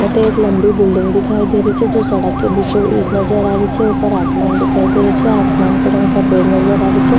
अठे एक लम्बी बिलडिंग दिखाई दे रही छे जो सड़क के बीचो बिच नजर आ री छे ऊपर आसमान दिखाई दे रो छे आसमान को रंग सफ़ेद नज़र आ रेहो छे।